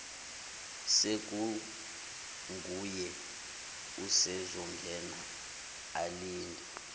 sekunguye usezongena alinde